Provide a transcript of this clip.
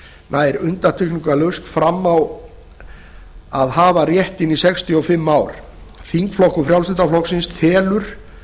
nær undantekningarlaust fram á að hafa réttinn í sextíu og fimm ár þingflokkur frjálslynda flokksins telur